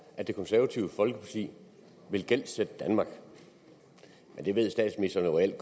at det konservative folkeparti vil gældsætte danmark det ved statsministeren jo alt